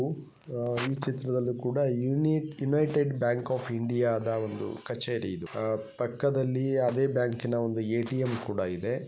ಈ ಚಿತ್ರದಲ್ಲಿ ಕೂಡ ಯುನೈಟೆಡ್ ಬ್ಯಾಂಕ್ ಆಫ್ ಇಂಡಿಯಾದ ಒಂದು ಕಚೇರಿ ಇದು ಅಹ್ ಪಕ್ಕದಲ್ಲಿ ಅದೇ ಬ್ಯಾಂಕಿನ ಒಂದು ಎ.ಟಿ.ಎಂ ಕೂಡ ಇದೆ.